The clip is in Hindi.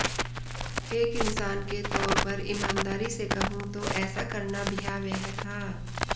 एक इंसान के तौर पर ईमानदारी से कहूं तो ऐसा करना भयावह था